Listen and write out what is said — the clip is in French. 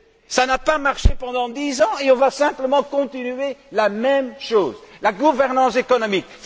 Cela n'a pas marché pendant dix ans et on va simplement continuer la même chose, la gouvernance économique.